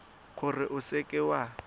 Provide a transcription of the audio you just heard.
gore o seka w a